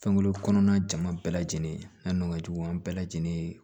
Fɛnkuru kɔnɔna jama bɛɛ lajɛlen n'o ka jugu an bɛɛ lajɛlen ye